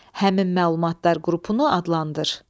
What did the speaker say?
Həmin məlumatlar qrupunu adlandır.